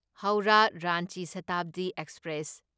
ꯍꯧꯔꯥ ꯔꯥꯟꯆꯤ ꯁꯥꯇꯥꯕꯗꯤ ꯑꯦꯛꯁꯄ꯭ꯔꯦꯁ